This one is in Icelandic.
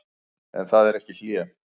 En það er ekki hlé.